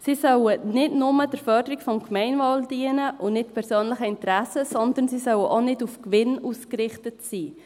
Sie sollen nicht nur der Förderung des Gemeinwohls dienen, und nicht persönlichen Interessen, sondern sie sollen auch nicht auf Gewinn ausgerichtet sein.